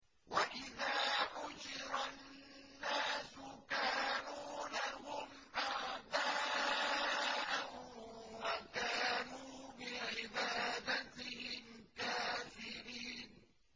وَإِذَا حُشِرَ النَّاسُ كَانُوا لَهُمْ أَعْدَاءً وَكَانُوا بِعِبَادَتِهِمْ كَافِرِينَ